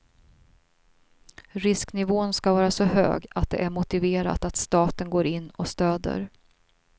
Risknivån ska vara så hög att det är motiverat att staten går in och stöder.